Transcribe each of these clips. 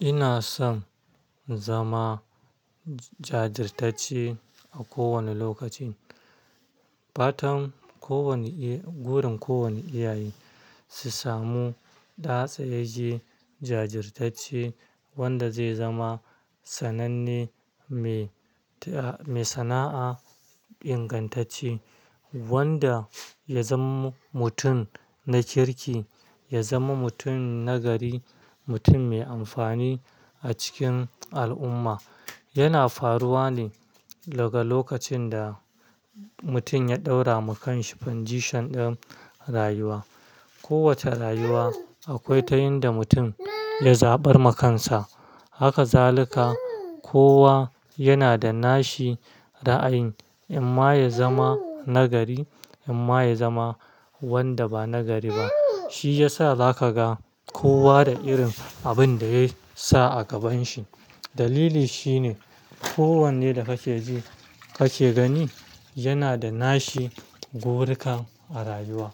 Ina son zama jajirtacce a kowane lokaci. Fatan kowane, burin kowane iyaye su samu ɗa tsayeji jajirtacci wanda zai zama sananne mai sana'a ingantacce, wanda ya zama mutum na kirki, ya zama mutum na gari, mutum mai amfani a cikin al'umma. Yana faruwa ne daga lokacin da mutum ya ɗaura ma kanshi condition ɗin rayuwa. Ko wace rayuwa akwai ta inda mutum ya zaɓar wa kansa. Haka zalika kowa yana da nashi ra'ayin in ma ya zama na gari in ma ya zama wanda ba na gari ba. Shi ya sa za ka ga kowa da irin abin da ya sa a gaban shi. Dalili shine ko wanne da kake ji, kake gani yana da nashi burukan a rayuwa.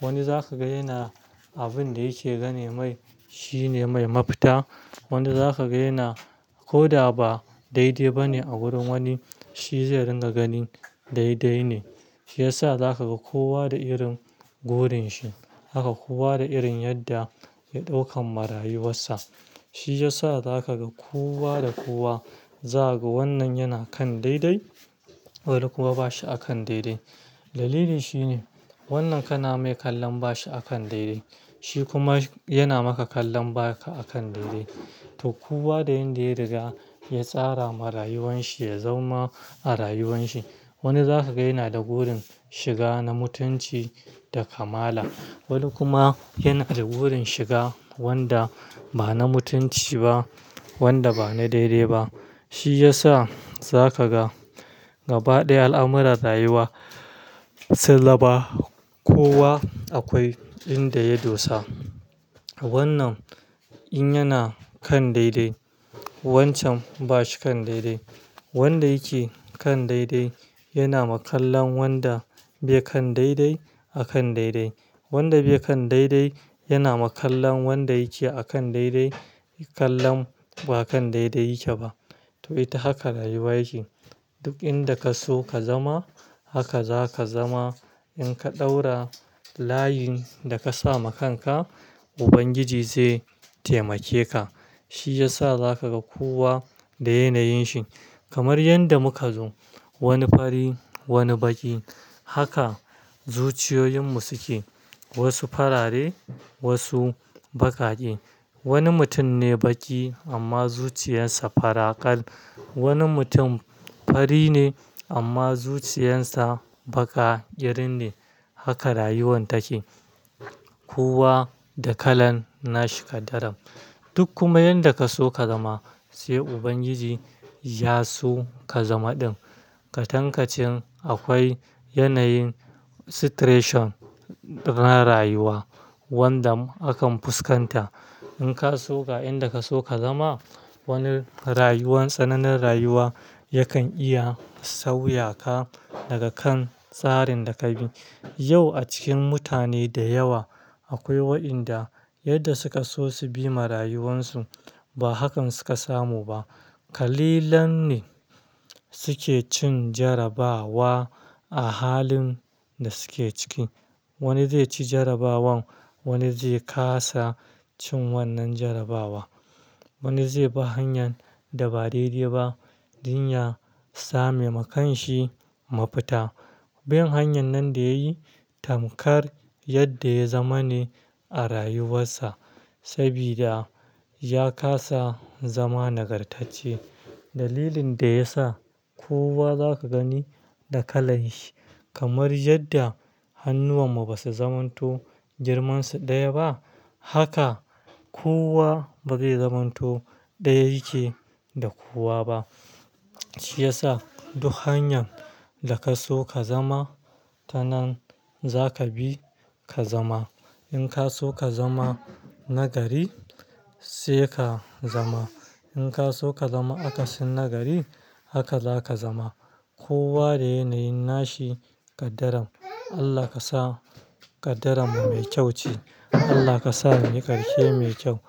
Wani zaka ga yana abun da yake gani mai, shine mai mafita. Wani zaka ga yana koda ba daidai ba ne a gurin wani, shi zai ringa ganin daidai ne. Shi ya sa za ka ga kowa da irin burunshi. Haka kowa da irin yadda ya ɗaukan marayuwan sa. Shi ya sa za ka ga kowa da kowa, za ka ga wannan yana kan daidai, wani kuma ba shi akan daidai. Dalili shine wannan kana mai kallon ba shi akan daidai, shi kuma yana maka kallon ba ka akan daidai. To kowa da inda ya riga ya tsara marayuwan shi, ya zauna a rayuwan shi. Wani zaka ga yana da burin shiga na mutunci da kamala. Wani kuma yana da gurin shiga wanda ba na mutunci ba, wanda ba na daidai ba. Shi ya sa za ka ga gaba ɗaya al'amuran rayuwa sun zama, kowa akwai inda ya dosa. Wannan in yana kan daidai, wancan ba shi kan daidai. Wanda yake kan daidai yana ma kallon wanda bai kan daidai a kan daidai. Wanda bai kan daidai yana ma kallon wanda yake a kan daidai kallon ba kan daidai yake ba. To ita haka rayuwa yake. Duk inda ka so ka zama haka za ka zama. In ka ɗaura layin da ka sa ma kanka, Ubangiji zai taimake ka. Shi ya sa za ka ga kowa da yanayin shi. Kamar yadda muka zo, wani fari, wani baki. Haka zuciyoyinmu suke, wasu farare, wasu baƙaƙe. Wani mutum ne baƙi amma zuciyarsa faraƙal. Wani mutum fari ne amma zuciyarsa baka irin ne. Haka rayuwan take. Kowa da kalan nashi ƙaddaran. Duk kuma yadda ka so ka zama sai Ubangiji ya so ka zama ɗin. Kwa tankacin akwai yanayin situation na rayuwa wanda akan fuskanta. In ka so ga inda ka so ka zama, wani rayuwan, tsananin rayuwa yakan iya sauya ka daga kan tsarin da ka bi. Yau a cikin mutane da yawa akwai waɗanda yadda suka so su bi marayuwan su ba hakan suka samu ba. Kalilan ne suke cin jarrabawa a halin da suke ciki. Wani zai ce jarrabawan, wani zai kasa cin wannan jarrabawa. Wani zai bi hanyar da ba daidai ba don ya same wa kashi mafita. Bin hanyar nan da ya yi tamkar yadda ya zama ne a rayuwarsa sabida ya kasa zama nagartacce. Dalilin da ya sa kowa za ka gani da kalan shi kamar yadda hannuwan mu ba su zamanto girmansu ɗaya ba, haka kowa ba zai zamanto ɗaya yake da kowa ba. Shi ya sa duk hanyan da ka so ka zama tanan za ka bi ka zama. In ka so ka zama na gari sai ka zama. In ka so ka zama akasin na gari haka za ka zama. Kowa da yanayin nashi ƙadaran. Allah ka sa ƙadaran mu mai kyau ce. Allah ka sa mu yi ƙarshe mai kyau.